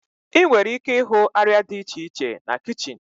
Ị nwere ike ịhụ arịa dị iche iche na kichin.